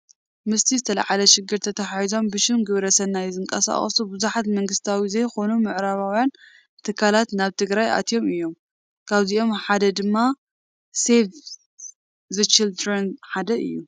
ምስቲ ዝተወለዓ ሽግር ተተሓሒዙ ብሽም ግብረ ሰናይ ዝንቀሳቐሱ ብዙሓት መንግስታዊ ዘይኮኑ ምዕራባውያን ትካላት ናብ ትግራይ ኣትዮም እዮም፡፡ ካብዚኦም ሓደ ድማ ሴቭ ዘ ቺልድረን ሓደ እዩ፡፡